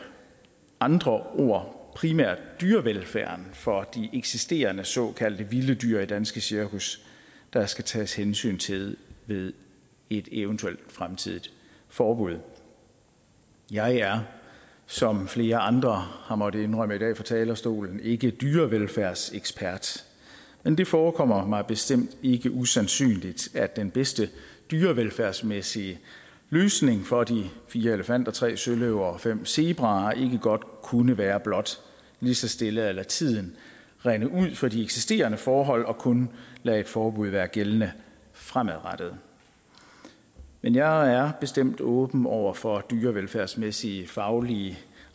andre ord primært dyrevelfærden for de eksisterende såkaldte vilde dyr i danske cirkus der skal tages hensyn til ved et eventuelt fremtidigt forbud jeg er som flere andre har måttet indrømme i dag fra talerstolen ikke dyrevelfærdsekspert men det forekommer mig bestemt ikke usandsynligt at den bedste dyrevelfærdsmæssige løsning for de fire elefanter tre søløver og fem zebraer godt kunne være blot lige så stille at lade tiden rinde ud for de eksisterende forhold og kun lade et forbud være gældende fremadrettet men jeg er bestemt åben over for dyrevelfærdsmæssige faglige